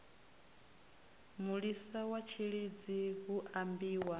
mulisa wa tshilidzi hu ambiwa